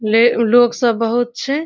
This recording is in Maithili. ले लोक सब बहुत छै ।